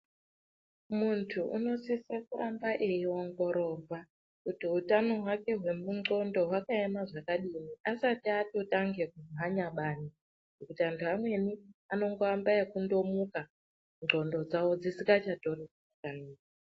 Muntu unosise kuramba eiongororwa kuti hutano hwake hwemundxondo hwakaema zvakadii asati atotange kumhanya bani, nekuti antu amweni anondoambe ngekundomuka ndxondo dzawo dzisingachatori zvakanaka.